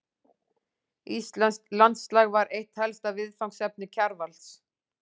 Íslenskt landslag var eitt helsta viðfangsefni Kjarvals.